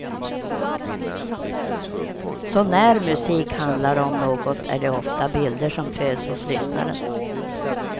Så när musik handlar om något är det ofta bilder som föds hos lyssnaren.